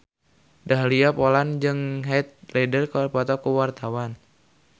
Dahlia Poland jeung Heath Ledger keur dipoto ku wartawan